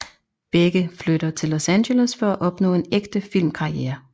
Begge flytter til Los Angeles for at opnå en ægte filmkarriere